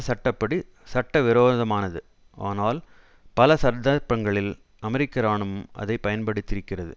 சட்ட படி சட்டவிரோதமானது ஆனால் பல சந்தர்ப்பங்களில் அமெரிக்க இராணுவம் அதை பயன்படுத்திருக்கிறது